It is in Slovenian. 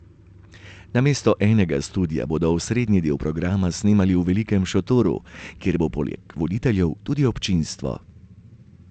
Namesto enega studia bodo osrednji del programa snemali v velikem šotoru, kjer bo poleg voditeljev tudi občinstvo.